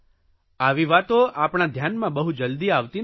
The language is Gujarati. આવી વાતો આપણા ધ્યાનમાં બહુ જલદી આવતી નથી